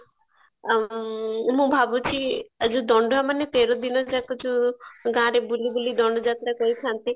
ଆଁ ମୁଁ ଭାବୁଚି ଆଉ ଯୋଉ ଦଣ୍ଡୁଆ ମାନେ ତେର ଦିନ ଯାକ ଯୋଉ ଗାଁରେ ବୁଲି ବୁଲି ଦଣ୍ଡ ଯାତ୍ରା କରିଥାନ୍ତି